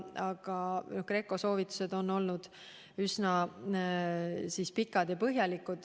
Aga GRECO soovitused on olnud üsna pikad ja põhjalikud.